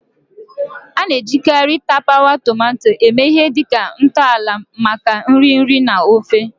A na-ejikarị tapawa tomato eme ihe dị ka ntọala maka nri nri na ofe.